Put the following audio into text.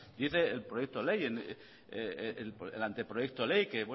dice el proyecto de ley el anteproyecto de ley que